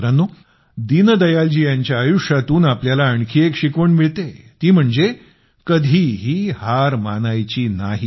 मित्रांनो दीनदयालजी यांच्या आयुष्यातून आपल्याला आणखी एक शिकवण मिळते ती म्हणजे कधीही हार मानायची नाही